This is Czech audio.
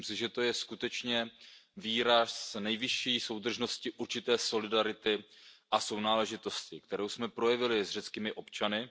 Myslím si, že to je skutečně výraz nejvyšší soudržnosti, určité solidarity a sounáležitosti, kterou jsme projevili s řeckými občany.